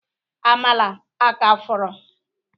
Amala aka fọrọ?